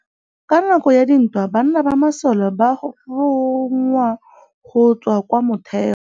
Ka nakô ya dintwa banna ba masole ba rongwa go tswa kwa mothêô.